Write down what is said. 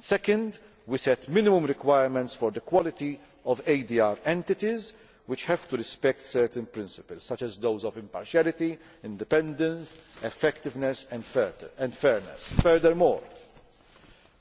Second, we set minimum requirements for the quality of ADR entities, which have to respect certain principles, such as those of impartiality, independence, effectiveness and fairness. Furthermore,